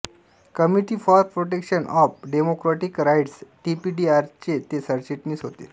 committee for protection of democratic rights टीपीडीआरचे ते सरचिटणीस आहेत